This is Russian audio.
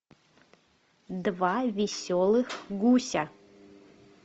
два веселых гуся